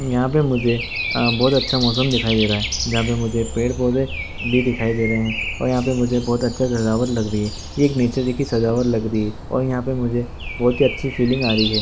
यहाँ पे मुझे बहुत ाचा मौसम दिखाई दे रहे है|